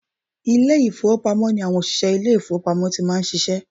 Ilé ìfowópamọ́ ni àwọn òṣìsẹ́ ilé ìfowópamọ́ ti máa ń ṣiṣẹ́